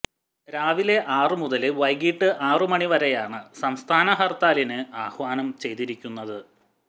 രാവിലെ ആറു മുതല് വൈകിട്ട് ആറു മണിവരെയാണ് സംസ്ഥാന ഹര്ത്താലിന് ആഹ്വാനം ചെയ്തിരിക്കുന്നത്